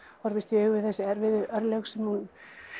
horfist í augu við þessi erfiðu örlög sem hún